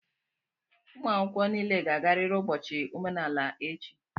ụmụ akwụkwọ niile ga-agarịrị ụbọchị omenala echi!